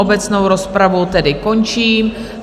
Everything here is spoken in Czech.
Obecnou rozpravu tedy končím.